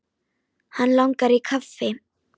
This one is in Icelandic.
Hann langar í kaffi.